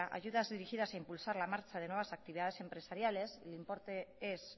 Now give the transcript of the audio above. ayudas dirigidas a impulsar la nueva marcha de actividades empresariales el importe es